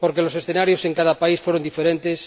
porque los escenarios en cada país fueron diferentes